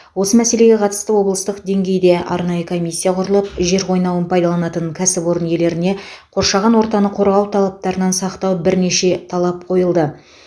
осы мәселеге қатысты облыстық деңгейде арнайы комиссия құрылып жер қойнауын пайдаланатын кәсіпорын иелеріне қоршаған ортаны қорғау талаптарынан сақтау бірнеше талап қойылды